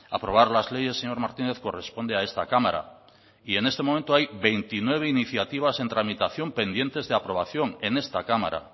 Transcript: aprobar las leyes señor martínez corresponde a esta cámara y en este momento hay veintinueve iniciativas en tramitación pendientes de aprobación en esta cámara